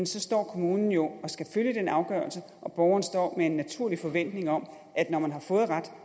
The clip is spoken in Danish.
så står kommunen jo og skal følge den afgørelse og borgeren står med en naturlig forventning om at når man har fået ret